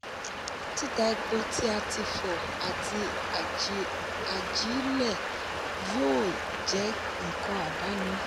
títà epo tí a ti fọ àti ajílẹ̀ yóò jẹ́ nǹkan àdáni.